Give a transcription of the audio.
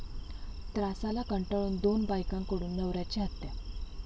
त्रासाला कंटाळून दोन बायकांकडून नवऱ्याची हत्या